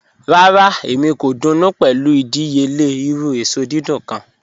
Rárá, èmi kò dùnú pé̩lú ìdíyèle̩ irù èsò dídùn kàn.